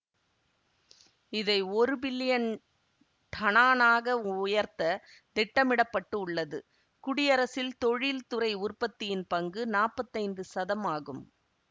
இதை ஒரு பில்லியன் டனானாக உயர்த்த திட்டமிட பட்டு உள்ளது குடியரசில் தொழில்துறை உற்பத்தியின் பங்கு நாப்பத்தைந்து சதம் ஆகும்